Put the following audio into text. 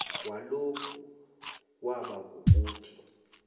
walokhu kwaba kukuthi